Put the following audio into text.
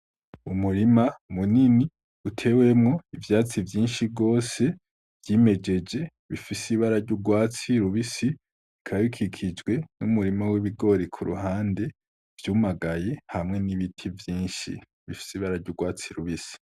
Umurima munini utewemwo ivyatsi vyinshi gose vyimejeje bifise ibara ry'urwatsi rubisi bikaba bikikijwe n'umurima w'ibigori kuruhande vyumagaye hamwe n'ibiti vyinshi bifise ibara ry'urwatsi rubisi.